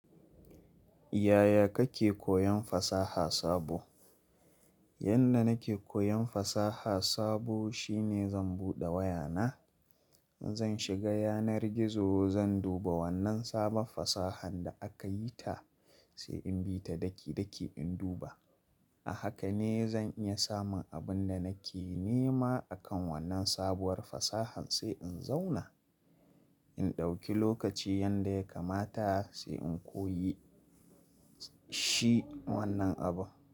Yaya kake koyon fasaha sabo? Yanda nake koyon fasaha sabo shine zan buɗe wayana, zan shiga yanar gizo zan duba wannan sabon fasahan da aka yi ta sai in bi ta daki-daki in duba. A haka ne zan iya samun abin da nake nema akan wannan sabuwar fasahan sai in zauna, in ɗauki lokaci yanda ya kamata sai in koyi shi wannan abun.